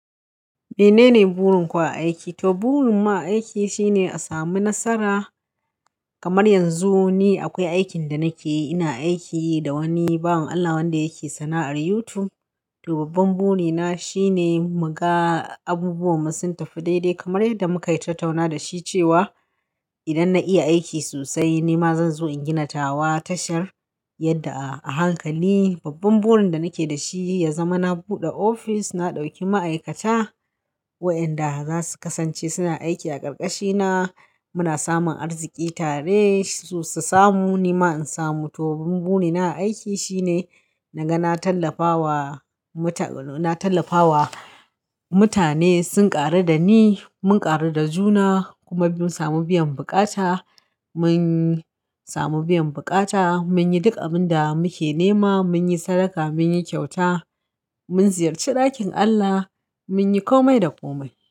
Menene burin ku a aiki? To burin mu a aiki shine a sami nasara. Kamar yanzu ni akwai aikin da nake yi, ina aiki da wani, baban Allah wanda yake sana'ar YouTube. To babban burina shine muga abubuwanmu sun tafi daidai kamar yadda muka yi tattauna da shi cewa idan na iya aiki sosai, ni ma zan zo in gina tawa tashar yadda a hankali. Babban burin da nake da shi ya zama na buɗe office, na ɗauki ma'aikata wa inda za su kasance suna aiki a ƙarƙashina. Muna samun arziki tare, su samu ni ma in samu. To babban burina a aiki shine naga na tallafawa muta-- na tallafawa mutane sun ƙaru da ni, mun ƙaru da juna kuma mun sami biyan buƙata, mun sami biyan buƙata, mun yi duk abin da muke nema, mun yi sadaka, mun yi kyauta, mun ziyarci ɗakin Allah, mun yi komai da komai.